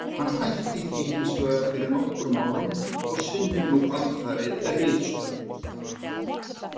Hann hætti því hins vegar fyrir nokkrum árum og sinnir nú alfarið ritstörfum.